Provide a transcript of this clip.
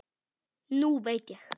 Nú veit ég.